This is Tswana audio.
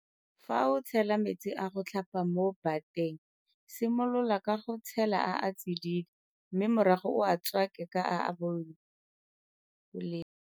Fa o tshela metsi a go tlhapa mo bateng simolola ka go tshela a a tsididi mme morago o a tswake ka a a bolelo.